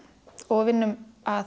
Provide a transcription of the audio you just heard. og vinnum að